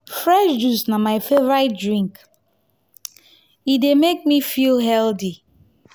fresh juice na my favourite drink e e dey make me feel healthy.